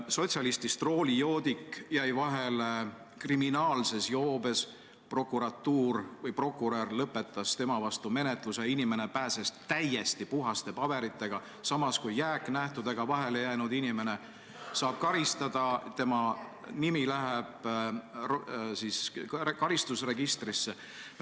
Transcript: Sotsialistist roolijoodik jäi vahele kriminaalses joobes, prokurör lõpetas tema vastu menetluse, inimene pääses täiesti puhaste paberitega, samas kui jääknähtudega vahele jäänud inimene saab karistada ja tema nimi läheb karistusregistrisse.